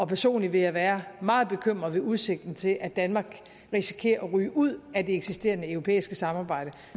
personligt ville jeg være meget bekymret ved udsigten til at danmark risikerer at ryge ud af det eksisterende europæiske samarbejde